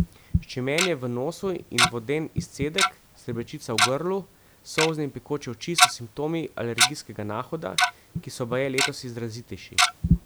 Ščemenje v nosu in voden izcedek, srbečica v grlu, solzne in pekoče oči so simptomi alergijskega nahoda, ki so baje letos izrazitejši.